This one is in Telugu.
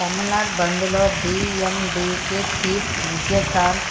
తమిళనాడు బంద్ లో డీఎండీకే చీఫ్ విజయ్ కాంత్